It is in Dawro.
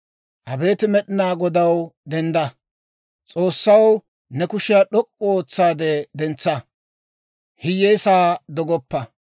Abeet Med'inaa Godaw, dendda. S'oossaw, ne kushiyaa d'ok'k'u ootsaade dentsa; hiyyeesaa dogoppa.